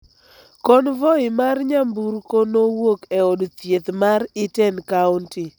Konvoi mar nyamburko nowuok e od thieth mar Iten County